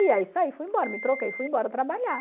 E aí saí, fui embora, me troquei, fui embora trabalhar.